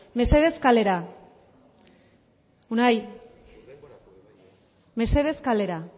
mesedez kalera unai mesedez kalera